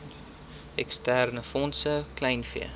eksterne fondse kleinvee